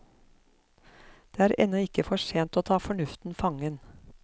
Det er ennå ikke for sent å ta fornuften fangen.